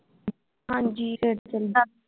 ਹਾਂਜੀ